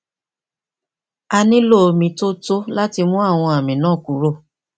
a nílò omi tó tó láti mú àwọn àmì náà kúrò